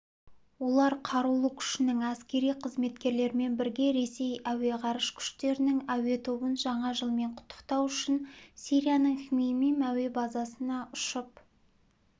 олар қарулы күшінің әскери қызметкерлерімен бірге ресей әуе ғарыш күштерінің әуе тобын жаңа жылмен құттықтау үшін сирияның хмеймим әуе базасына ұшып